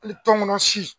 Hali tɔnkɔnɔ si